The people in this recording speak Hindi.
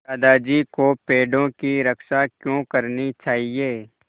दादाजी को पेड़ों की रक्षा क्यों करनी चाहिए